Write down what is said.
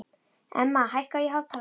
Emma, hækkaðu í hátalaranum.